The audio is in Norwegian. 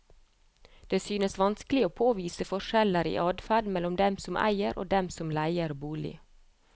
Det synes vanskelig å påvise forskjeller i adferd mellom dem som eier og dem som leier bolig.